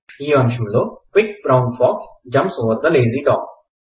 ఈ అంశంలోని వాక్యం the quick brown fox jumps over the lazy dog